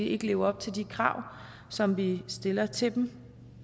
ikke lever op til de krav som vi stiller til dem